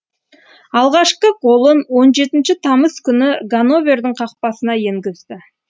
алғашқы голын он жетінші тамыз күні ганновердің қақпасына енгізді